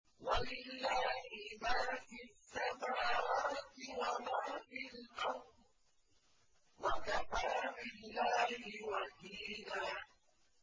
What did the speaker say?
وَلِلَّهِ مَا فِي السَّمَاوَاتِ وَمَا فِي الْأَرْضِ ۚ وَكَفَىٰ بِاللَّهِ وَكِيلًا